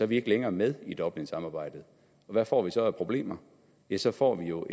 vi ikke længere med i dublinsamarbejdet og hvad får vi så af problemer ja så får vi jo